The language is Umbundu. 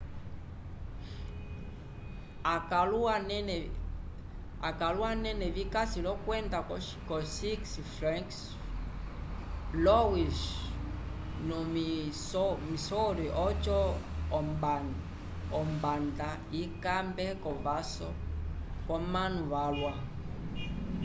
akãlu anene vikasi l'okwenda ko six flags st louis vo missouri oco ombanda ikambe k'ovaso v'omanu valwa